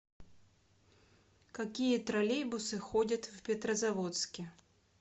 какие троллейбусы ходят в петрозаводске